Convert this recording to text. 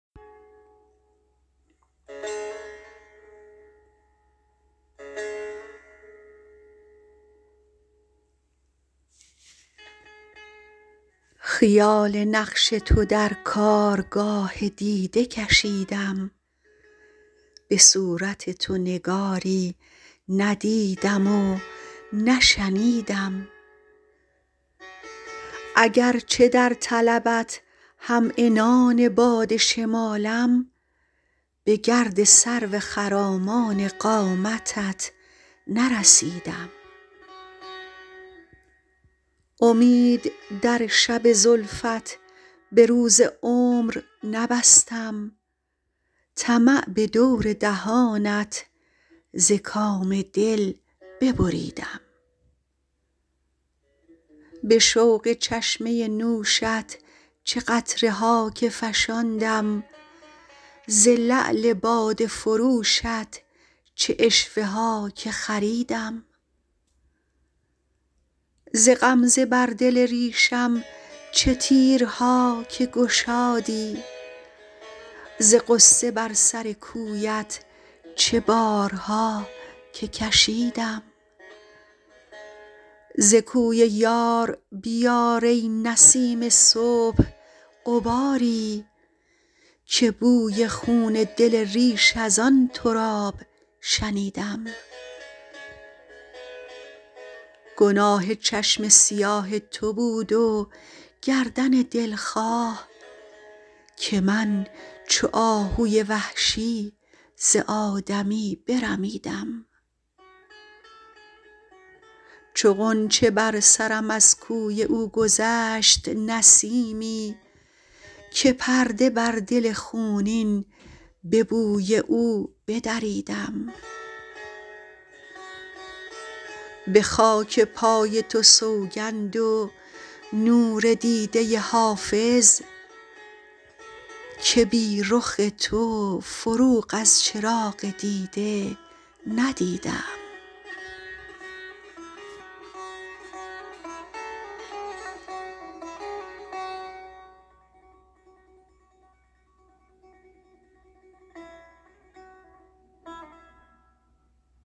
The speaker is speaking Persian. خیال نقش تو در کارگاه دیده کشیدم به صورت تو نگاری ندیدم و نشنیدم اگرچه در طلبت هم عنان باد شمالم به گرد سرو خرامان قامتت نرسیدم امید در شب زلفت به روز عمر نبستم طمع به دور دهانت ز کام دل ببریدم به شوق چشمه نوشت چه قطره ها که فشاندم ز لعل باده فروشت چه عشوه ها که خریدم ز غمزه بر دل ریشم چه تیرها که گشادی ز غصه بر سر کویت چه بارها که کشیدم ز کوی یار بیار ای نسیم صبح غباری که بوی خون دل ریش از آن تراب شنیدم گناه چشم سیاه تو بود و گردن دلخواه که من چو آهوی وحشی ز آدمی برمیدم چو غنچه بر سرم از کوی او گذشت نسیمی که پرده بر دل خونین به بوی او بدریدم به خاک پای تو سوگند و نور دیده حافظ که بی رخ تو فروغ از چراغ دیده ندیدم